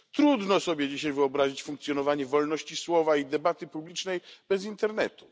Trudno sobie dzisiaj wyobrazić funkcjonowanie wolności słowa i debaty publicznej bez internetu.